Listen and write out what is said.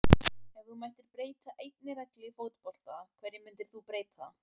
nei Ef þú mættir breyta einni reglu í fótbolta, hverju myndir þú breyta?